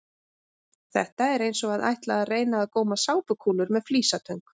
Þetta er eins og að ætla að reyna að góma sápukúlur með flísatöng!